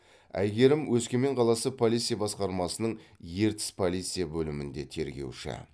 әйгерім өскемен қаласы полиция басқармасының ертіс полиция бөлімінде тергеуші